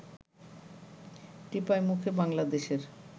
টিপাইমুখে বাংলাদেশের